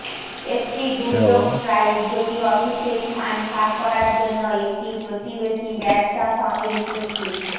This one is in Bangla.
একটি দুর্যোগ স্ট্রাইক যদি অফিসে স্থান ভাগ করার জন্য একটি প্রতিবেশী ব্যবসা সঙ্গে চুক্তি